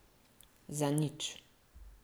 Zanič.